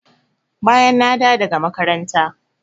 Bayan na dawo daga makaranta.